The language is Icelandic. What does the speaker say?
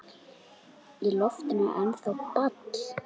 Í loftinu er ennþá ball.